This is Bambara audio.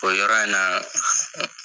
O yɔrɔ in na